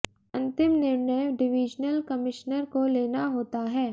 अंतिम निर्णय divisional commissioner को लेना होता है